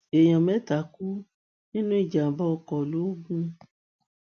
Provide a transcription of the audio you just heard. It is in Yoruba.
èèyàn mẹta kú nínú ìjàmbá ọkọ logun